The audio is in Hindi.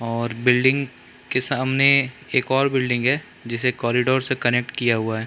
और बिल्डिंग के सामने एक और बिल्डिंग है जिसे कॉरीडोर से कनेट किया हुआ है।